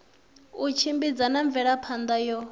u tshimbidza na mvelaphana yo